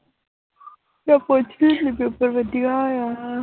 ਤੇ ਪੁੱਛਦੀ ਸੀ paper ਵਧੀਆ ਹੋਇਆ